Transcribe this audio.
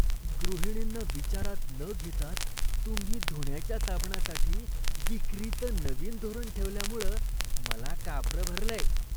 गृहिणींना विचारात न घेताच तुम्ही धुण्याच्या साबणासाठी विक्रीचं नवीन धोरण ठेवल्यामुळं मला कापरं भरलंय.